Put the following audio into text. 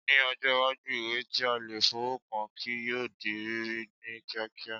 Ní ọjọ́ iwájú, ìwé tí a lè fọwọ́ kàn kí yóò di rírí ní kíákíá